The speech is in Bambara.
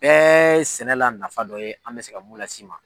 Bɛɛ ye sɛnɛ la nafa dɔ ye an be se ka mun las'i ma